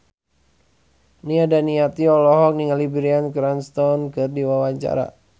Nia Daniati olohok ningali Bryan Cranston keur diwawancara